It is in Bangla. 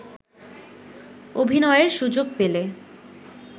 অভিনয়ের সুযোগ পেলে